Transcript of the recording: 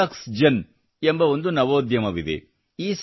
Fluxgen ಎಂಬ ಒಂದು ನವೋದ್ಯಮವಿದೆ